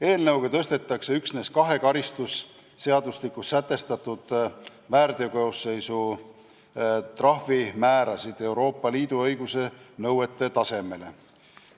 Eelnõuga tõstetakse üksnes kahe karistusseadustikus sätestatud väärteokoosseisu trahvimäärasid Euroopa Liidu õiguse nõuete tasemele.